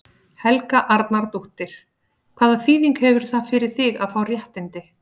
Helga Arnardóttir: Hvaða þýðingu hefur það fyrir þig að fá réttindi?